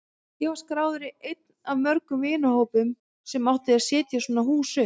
Ég var skráður í einn af mörgum vinnuhópum sem átti að setja svona hús upp.